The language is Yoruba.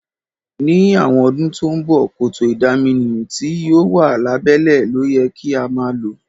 Ní àwon odún to n bo, kòtò ìdaminú ti yio wa lábẹ́lẹ́ lóyẹ ka ma lo